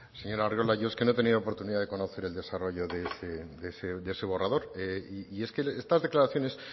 señor arriola yo es que no he tenido oportunidad de conocer el desarrollo de ese borrador y es que estas declaraciones